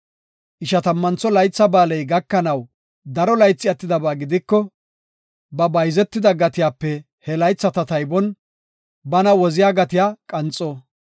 Ishatammantho Laytha Ba7aaley gakanaw daro laythi attidaba gidiko, ba bayzetida gatiyape he laytha taybon bana woziya gatiya qanxo.